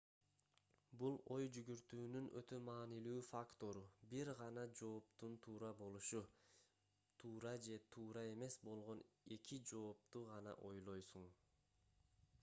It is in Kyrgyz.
бул ой жүгүртүүнүн өтө маанилүү фактору бир гана жооптун туура болушу туура же туура эмес болгон эки жоопту гана ойлойсуң